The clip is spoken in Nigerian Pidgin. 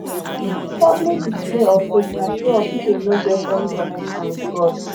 publi display of faith na show off if im no get any connection with god